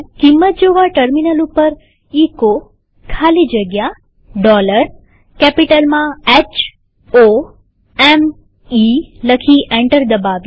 કિંમત જોવાટર્મિનલ ઉપર એચો ખાલી જગ્યા કેપિટલ માં h o m ઇ લખી એન્ટર દબાવીએ